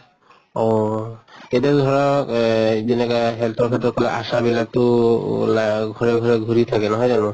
অহ এতিয়া ধৰা এহ যেনেকা health ৰ ক্ষেত্ৰত কয় ASHA বিলাক তহ ওলা ঘৰে ঘৰে ঘুৰি থাকে নহয় জানো।